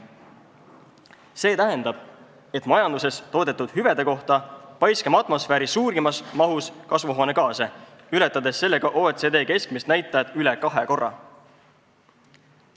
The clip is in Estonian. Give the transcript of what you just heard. See tähendab, et majanduses toodetud hüvede kohta paiskame atmosfääri suurimas mahus kasvuhoonegaase, ületades sellega OECD keskmist näitajat üle kahe korra.